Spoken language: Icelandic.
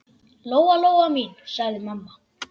Lóa-Lóa mín, sagði mamma.